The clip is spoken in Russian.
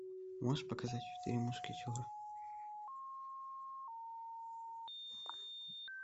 можешь показать четыре мушкетера